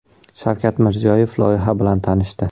Shavkat Mirziyoyev loyiha bilan tanishdi.